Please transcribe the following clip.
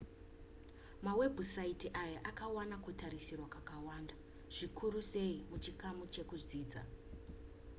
mawebhusaiti aya akawana kutariswa kwakawanda zvikuru sei muchikamu chezvekudzidza